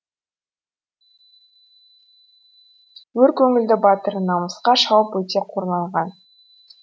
өр көңілді батыр намысқа шауып өте қорланған